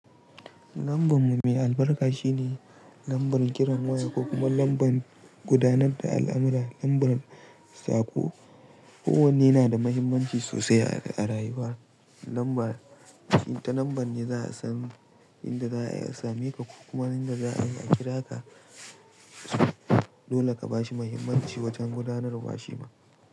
Lambar mu mai albarka shine lambar kiran waya ko kuma lambar gudanar da al'amura, lambar saƙo. Kowanne nada mahimmanci sosai a rayuwa. Lambar, inta lambar ne za a san inda za'a yi a same ka ko kuma inda za'a yi a kira ka. Dole ka ba shi mahimmanci wajen gudanarwa shi ma.